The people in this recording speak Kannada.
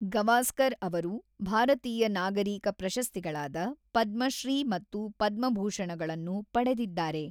ಗವಾಸ್ಕರ್ ಅವರು ಭಾರತೀಯ ನಾಗರೀಕ ಪ್ರಶಸ್ತಿಗಳಾದ ಪದ್ಮಶ್ರೀ ಮತ್ತು ಪದ್ಮಭೂಷಣಗಳನ್ನು ಪಡೆದಿದ್ದಾರೆ.